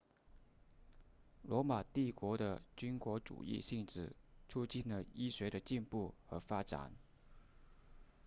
罗马帝国的军国主义性质促进了医学的进步和发展